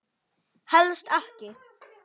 Helst ekki.